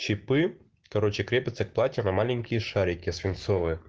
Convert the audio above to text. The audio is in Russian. чипы короче крепятся к платью на маленькие шарики свинцовые